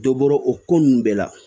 Dɔ bɔro ko nunnu bɛɛ la